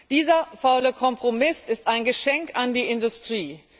Dieser faule Kompromiss ist ein Geschenk an die Industrie!